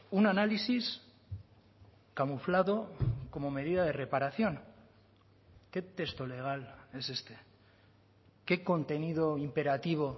un análisis camuflado como medida de reparación qué texto legal es este qué contenido imperativo